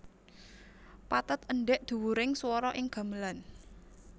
Pathet endhek dhuwuring swara ing gamelan